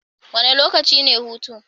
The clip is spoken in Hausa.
Wane lokaci ne hutu?